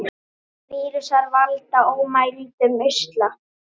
Vírusar valda ómældum usla.